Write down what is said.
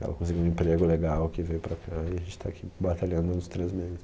Ela conseguiu um emprego legal que veio para cá e a gente tá aqui batalhando nos três meses.